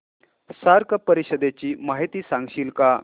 SAARC परिषदेची माहिती सांगशील का